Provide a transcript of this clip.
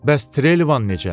Bəs Trelevan necə?